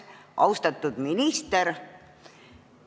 Austatud minister!